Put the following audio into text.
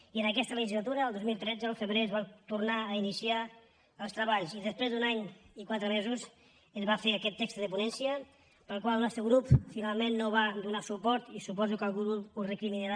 i en aquesta legislatura el dos mil tretze al febrer es van tornar a iniciar els treballs i després d’un any i quatre mesos es va fer aquest tex de ponència al qual el nostre grup finalment no va donar suport i suposo que algú ho deu recriminar